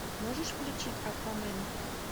можешь включить аквамен